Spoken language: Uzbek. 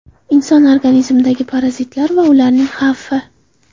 Inson organizmidagi parazitlar va ularning xavfi.